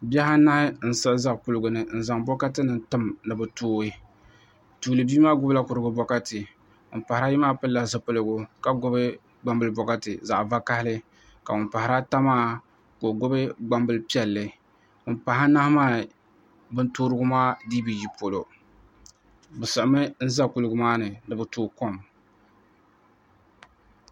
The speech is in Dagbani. bihi anahi n-siɣi za kuligi ni n-zaŋ bɔkatinima tim ni bɛ tooi bia maa gbubila kurigu bɔkati ŋun pahiri ayi maa pilila zipiligu ka gbubi gbambili bɔkati zaɣ'vakahili ka ŋun pahiri ata maa ka o gbubi gbambili piɛlli ŋun pahi anahi maa bin toorigu maa dii bi yi polo bɛ siɣimi n-za kuliga maa ni ni bɛ tooi kom